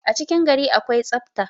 a cikin gari akwai tsafta